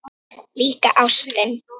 Líka ástin.